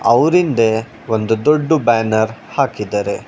ಅವರಿಂದೆ ಒಂದು ದೊಡ್ದು ಬ್ಯಾನರ್ ಹಾಕಿದರೆ.